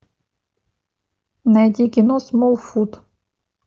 найти кино смолфут